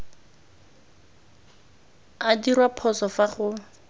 a dirwa phoso fa go